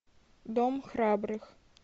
дом храбрых